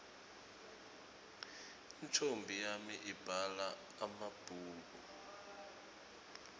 intfombi yami ibhala emabhulu